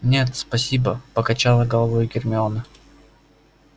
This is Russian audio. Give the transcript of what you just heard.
нет спасибо покачала головой гермиона